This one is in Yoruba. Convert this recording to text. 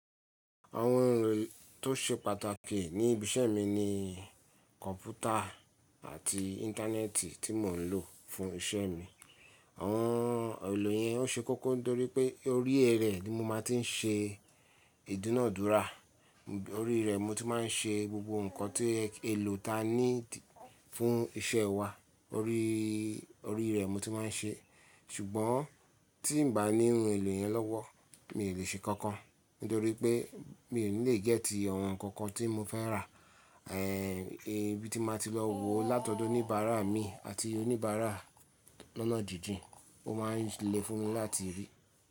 Àwọn ohun èlò tó ṣe pàtàkì ní ibi iṣẹ́ mi ni kọ̀npútà àti Íńtánẹ́ẹ̀tì tí mò ń lò fún iṣẹ́ mi. Àwọn ohun èlò yẹn ó ṣe kókó nítorí pé orí ẹ rẹ̀ ni mo máa ti ń ṣe ìdúnàádúrà, orí rẹ̀ mo ti máa ń ṣe gbogbo ǹkan tí èlò ta ní fún iṣẹ́ wa. Orí, orí rẹ̀ mo ti máa ń ṣe. Ṣùgbọ́n tí n bà ní ohun èlò yẹn lọ́wọ́, mi ò lè ṣe kankan nítorí pé mi ò ní lè gẹ́tì ohun kankan tí mo fẹ́ rà, ẹ, ibi tí máa ti lọ wò látọ̀dọ̀ oníbàárà mi àti oníbàárà lọ́nà jíjìn ó máa ń le fún mi láti rí.